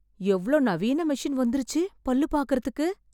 எவ்வளோ நவீன மெஷின் வந்துருச்சு பல்லு பாக்கறதுக்கு